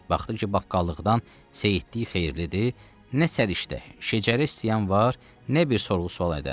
Baxdı ki, baqqallıqdan seyidlik xeyirlidir, nə səriştə, şəcərə istəyən var, nə bir sorğu-sual edən.